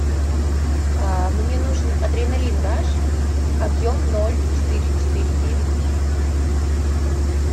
мне нужен адреналин раш объем ноль четыре четыре девять литра